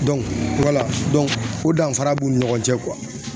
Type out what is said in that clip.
o danfara b'u ni ɲɔgɔn cɛ